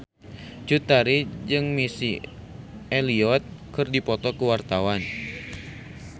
Cut Tari jeung Missy Elliott keur dipoto ku wartawan